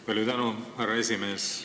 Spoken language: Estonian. Palju tänu, härra esimees!